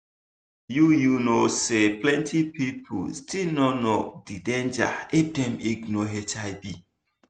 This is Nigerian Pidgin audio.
you you know say plenty people still no know the danger if dem ignore hiv.